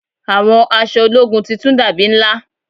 Àwọn aṣọ ológun titun dàbí ńlá